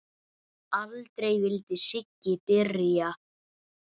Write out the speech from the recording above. Aldrei vildi Siggi byrja.